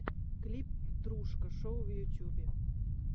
клип дружко шоу в ютьюбе